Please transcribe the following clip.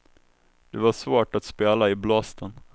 Det var svårt att spela i blåsten.